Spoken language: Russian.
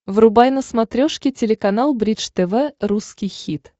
врубай на смотрешке телеканал бридж тв русский хит